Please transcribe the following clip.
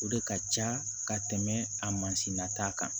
O de ka ca ka tɛmɛ a mansin nata kan